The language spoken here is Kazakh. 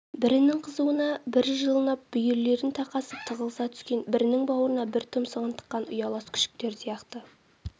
бірінің қызуына бір жылынып бүйірлерін тақасып тығылыса түскен бірінің бауырына бір тұмсығын тыққан ұялас күшіктер сияқты